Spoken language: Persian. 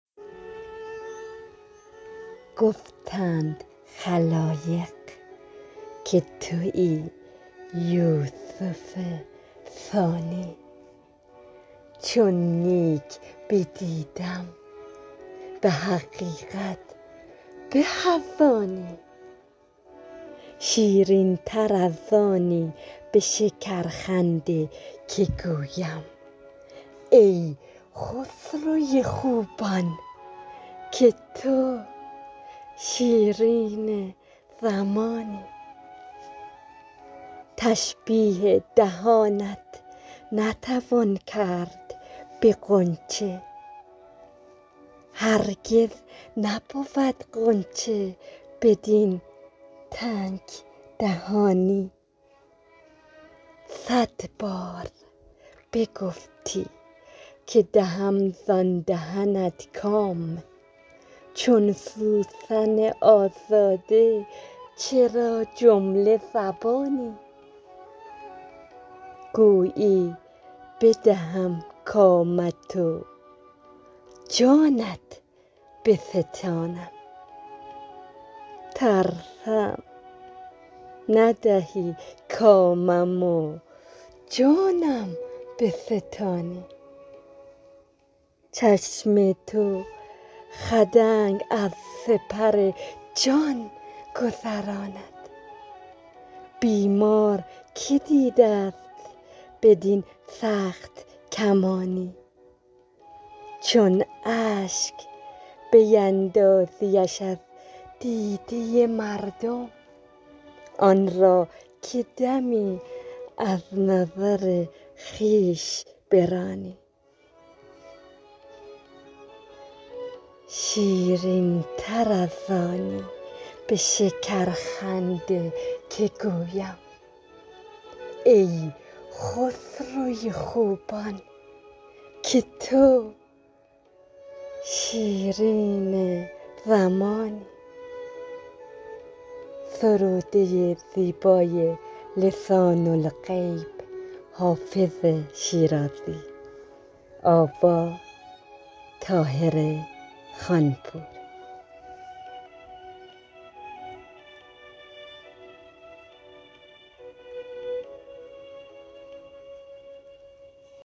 گفتند خلایق که تویی یوسف ثانی چون نیک بدیدم به حقیقت به از آنی شیرین تر از آنی به شکرخنده که گویم ای خسرو خوبان که تو شیرین زمانی تشبیه دهانت نتوان کرد به غنچه هرگز نبود غنچه بدین تنگ دهانی صد بار بگفتی که دهم زان دهنت کام چون سوسن آزاده چرا جمله زبانی گویی بدهم کامت و جانت بستانم ترسم ندهی کامم و جانم بستانی چشم تو خدنگ از سپر جان گذراند بیمار که دیده ست بدین سخت کمانی چون اشک بیندازیش از دیده مردم آن را که دمی از نظر خویش برانی